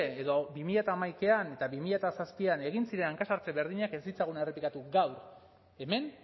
edo berrehun eta batean eta bi mila zazpian egin ziren hanka sartze berdinak ez ditzagun errepikatu gaur hemen